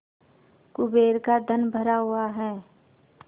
कुबेर का धन भरा हुआ है